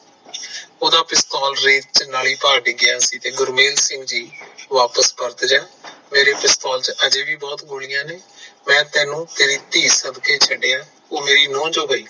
ਓਹਦਾ ਪਿਸਤੌਲ ਰੇਤ ਚ ਨਾਲਿ ਭਾਰ ਡਿਗਯਾ ਗੁਰਮੇਲ ਸਿੰਘ ਜੀ ਵਾਪਸ ਪਰਤ ਜਾ ਮੇਰੇ ਪਿਸਤੌਲ ਚ ਹਜੇ ਵੀ ਬਹੁਤ ਗੋਲੀਆਂ ਨੇ, ਮੈਂ ਤੈਨੂੰ ਤੇਰੀ ਧੀ ਸਦਕੇ ਛੱਡੀਆ, ਉਹ ਮੇਰੋ ਨੂੰਹ ਜੋ ਹੋਇ